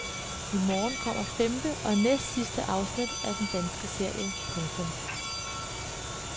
I morgen kommer femte og næstsidste afsnit af den danske serie. punktum